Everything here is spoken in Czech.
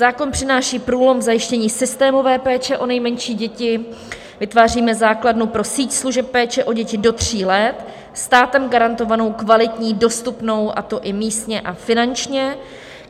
Zákon přináší průlom v zajištění systémové péče o nejmenší děti, vytváříme základnu pro síť služeb péče o děti do tří let státem garantovanou, kvalitní, dostupnou, a to i místně a finančně.